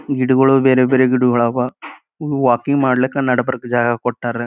ಗಿಡಗಳು ಬೇರೆ ಬೇರೆ ಗಿಡಗಳು ಆವಾ ವಾಕಿಂಗ್ ಮಾಡ್ಲಿಕ್ಕೆ ನಡಬರ್ಕ ಜಾಗ ಕೊಟ್ಟಾರ.